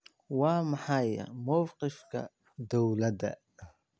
Waa maxay mowqifka dowladda?